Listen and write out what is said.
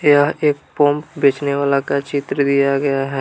यह एक पम्प बेचने वाला का चित्र दिया गया है।